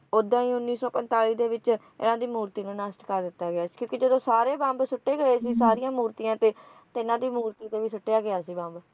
ਉੱਦਾਂ ਹੀ ਉੱਨੀ ਸੌ ਪੰਤਾਲੀ ਦੇ ਵਿਚ ਇਨ੍ਹਾਂ ਦੀ ਮੂਰਤੀ ਨੂੰ ਨਸ਼ਟ ਕਰ ਦਿੱਤਾ ਗਿਆ ਸੀ ਕਿਉਂਕਿ ਜਦੋਂ ਸਾਰੇ ਬੰਬ ਸੁੱਟੇ ਗਏ ਸੀ ਸਾਰੀਆਂ ਮੂਰਤੀਆਂ ਤੇ ਇਨ੍ਹਾਂ ਦੀ ਮੂਰਤੀ ਤੇ ਵੀ ਸੁੱਟਿਆ ਗਿਆ ਸੀ ਬੰਬ